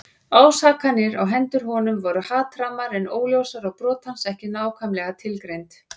Ásakanirnar á hendur honum voru hatrammar en óljósar og brot hans ekki nákvæmlega tilgreind.